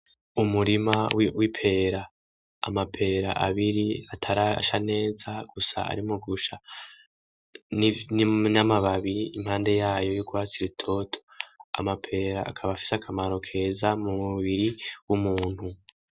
Umurima w'ipera amapera abiri atarasha neza gusa arimwo gusha n'amababi impande yayo y'urwatsi rutoto amapera akaba fise akamaro keza mu mubiri w'umuntu.